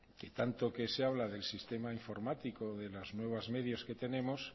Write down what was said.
que tanto que se habla del sistema informático y de los nuevos medios que tenemos